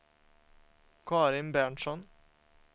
Karin Berntsson